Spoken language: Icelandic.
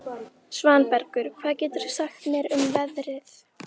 Svanbergur, hvað geturðu sagt mér um veðrið?